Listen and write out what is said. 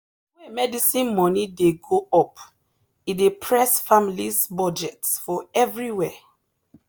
the way medicine money dey go up e dey press families’ budget for everywhere.